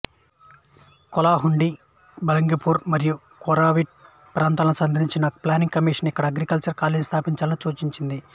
కలాహండి బలంగీర్ మరొయు కోరాపుట్ ప్రాంతాలను సందర్శించిన ప్లానింగ్ కమిషన్ ఇక్కడ అగ్రికల్చర్ కాలేజి స్థాపించాలని సూచించింది